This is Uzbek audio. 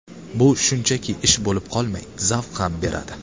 Bu shunchaki ish bo‘lib qolmay, zavq ham beradi.